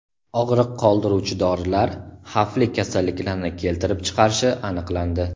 Og‘riq qoldiruvchi dorilar xavfli kasalliklarni keltirib chiqarishi aniqlandi.